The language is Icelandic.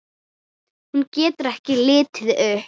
Hún getur ekki litið upp.